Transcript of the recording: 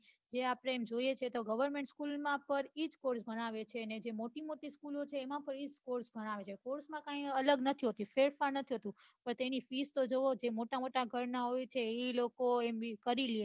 જે આપડે એમ જોઈએ છે government school માં ઇજ course ભણાવે છે મોટીમોટી school છે એમાં એજ course ભણાવે છે course કઈ અલગ નથી હોતી self finance હતું પન તેની fees તો જોવો મોટા મોટા ઘર ના હોય એ કરી લે